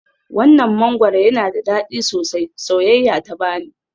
Wannan mangwaro yana da dadi sosai, soyayya ta bani.